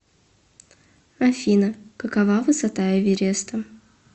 афина какова высота эвереста